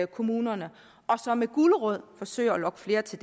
kommunerne og så med gulerod forsøger at lokke flere til